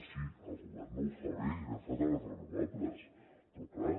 sí sí el govern no ho fa bé i anem fatal en renovables però clar